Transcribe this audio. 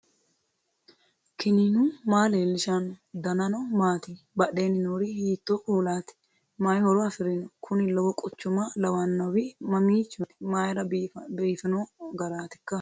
knuni maa leellishanno ? danano maati ? badheenni noori hiitto kuulaati ? mayi horo afirino ? kuni lowo quchuma lawannowi mamiichooti mayra biifino garaatikka